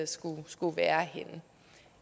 skulle skulle være henne